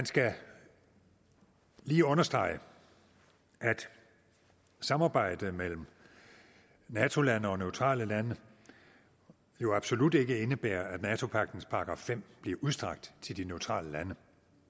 skal lige understrege at samarbejdet mellem nato lande og neutrale lande jo absolut ikke indebærer at nato pagtens § fem bliver udstrakt til de neutrale lande